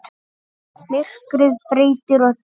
Myrkrið breytir öllu.